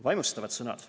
"Vaimustavad sõnad.